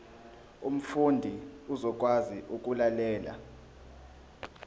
umfundi uzokwazi ukulalela